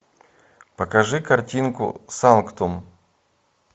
покажи картинку санктум